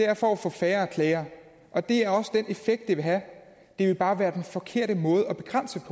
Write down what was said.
er for at få færre klager og det er også den effekt det vil have det vil bare være den forkerte måde at begrænse